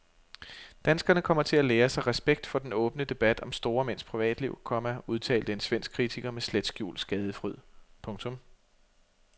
Danskerne kommer til at lære sig respekt for den åbne debat om store mænds privatliv, komma udtalte en svensk kritiker med slet skjult skadefryd. punktum